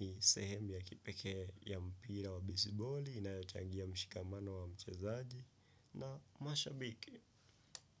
ni sehemu ya kipekee ya mpira wa baseball inayochangia mshikamano wa mchezaji na mashabiki.